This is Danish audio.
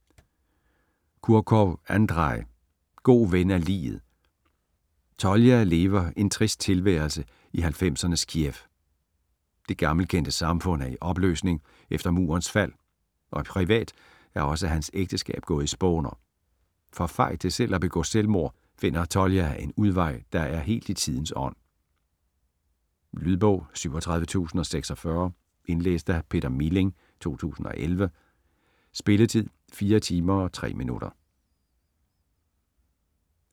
Kurkov, Andrej: God ven af liget Tolja lever en trist tilværelse i 90'ernes Kiev. Det gammelkendte samfund er i opløsning efter murens fald, og privat er også hans ægteskab gået i spåner. For fej til selv at begå selvmord finder Tolja en udvej, der er helt i tidens ånd. Lydbog 37046 Indlæst af Peter Milling, 2011. Spilletid: 4 timer, 3 minutter.